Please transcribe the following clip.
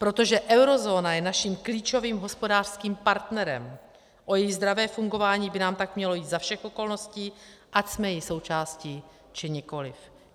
Protože eurozóna je naším klíčovým hospodářským partnerem, o její zdravé fungování by nám tak mělo jít za všech okolností, ať jsme její součástí či nikoliv.